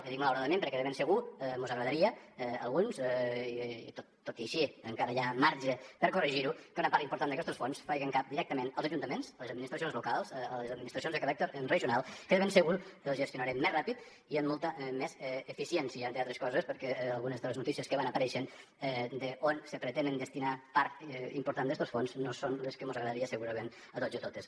i dic malauradament perquè de ben segur mos agradaria a alguns tot i així encara hi ha marge per corregir ho que una part important d’aquests fons fessen cap directament als ajuntaments les administracions locals a les administracions de caràcter regional que de ben segur els gestionaríem més ràpid i amb molta més eficiència entre altres coses perquè algunes de les notícies que van apareixent d’on se pretenen destinar part important d’estos fons no són les que mos agradaria segurament a tots i totes